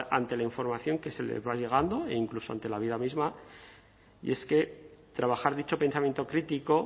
ante la información que se les va llegando e incluso ante la vida misma y es que trabajar dicho pensamiento crítico